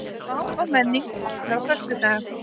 Mál og menning opnar á föstudag